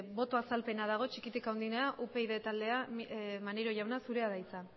boto azalpena dago txikitik handienera upyd taldea maneiro jauna zurea da hitza